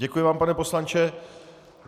Děkuji vám, pane poslanče.